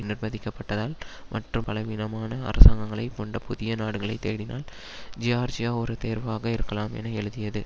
நிர்ப்பந்திக்கப்பட்டதால் மற்றும் பலவீனமான அரசாங்கங்களை கொண்ட புதிய நாடுகளைத் தேடினால் ஜியார்ஜியா ஒரு தேர்வாக இருக்கலாம் என எழுதியது